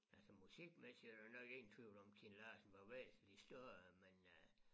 Altså musikmæssigt er der nok ingen tvivl om Kim Larsen var væsentligt større men øh